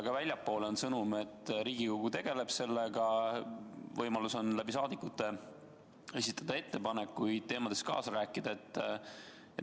Ka väljapoole on saadetud sõnum, et Riigikogu tegeleb sellega, inimestel on võimalik rahvasaadikute kaudu ettepanekuid esitada, kaasa rääkida.